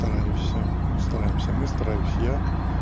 стараюсь ну стараемся мы стараюсь я